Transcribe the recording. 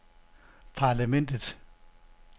parlamentet